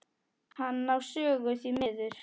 Hann á sögu, því miður.